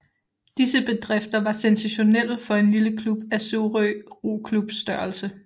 Disse bedrifter var sensationelle for en lille klub af Sorø Roklubs størrelse